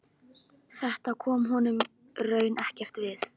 Þetta kom honum raunar ekkert við.